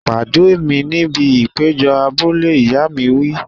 Pàdé mi níbi ìpéjọ abúlé! Ìyá mi wí.